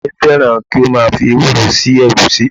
Ìyá mi fẹ́ràn kí ó máa fi ewúro sí ẹ̀gúsí.